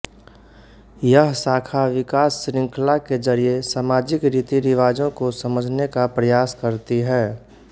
यह शाखा विकास श्रृंखला के जरिए सामाजिक रीति रिवाजों को समझने का प्रयास करती है